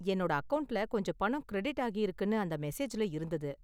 என்னோட அக்கவுண்ட்ல கொஞ்சம் பணம் கிரெடிட் ஆகிருக்குனு அந்த மெசேஜ்ல இருந்தது.